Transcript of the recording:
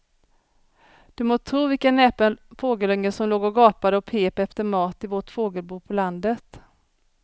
Du må tro vilken näpen fågelunge som låg och gapade och pep efter mat i vårt fågelbo på landet.